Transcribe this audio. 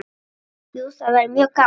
Jú, það væri mjög gaman.